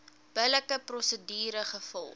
billike prosedure gevolg